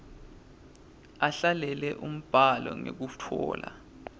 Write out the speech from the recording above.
ahlele umbhalo ngekutfola